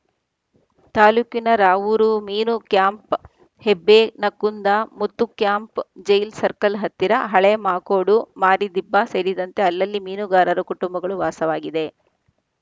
ತಾಲೂಕಿನ ರಾವೂರು ಮೀನು ಕ್ಯಾಂಪು ಹೆಬ್ಬೆ ನಕ್ಕುಂದ ಮುತ್ತುಕ್ಯಾಂಪು ಜೈಲ್‌ ಸರ್ಕಲ್‌ ಹತ್ತಿರ ಹಳೇ ಮಾಕೋಡು ಮಾರಿದಿಬ್ಬ ಸೇರಿದಂತೆ ಅಲ್ಲಲ್ಲಿ ಮೀನುಗಾರರ ಕುಟುಂಬಗಳು ವಾಸವಾಗಿವ